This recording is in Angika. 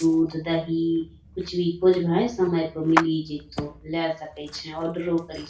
दूध दही कुछ भी खोजभें समय पे मिल ही जैतो | ले सकै छे ओर्डेरो करि --